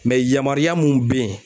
yamaruya mun bɛ yen